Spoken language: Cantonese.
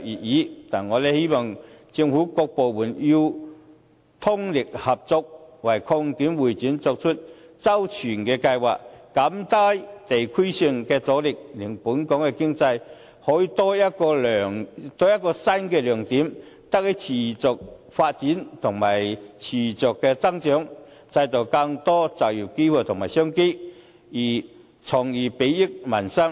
然而，我希望政府各部門通力合作，為擴建會展作出周全的計劃，減低地區性的阻力，令本港經濟可以有多一個亮點，得以持續發展及增長，製造更多就業機會及商機，從而裨益民生。